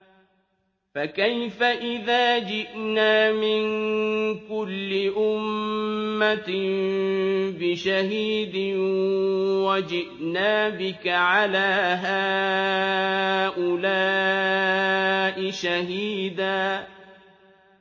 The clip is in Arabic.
فَكَيْفَ إِذَا جِئْنَا مِن كُلِّ أُمَّةٍ بِشَهِيدٍ وَجِئْنَا بِكَ عَلَىٰ هَٰؤُلَاءِ شَهِيدًا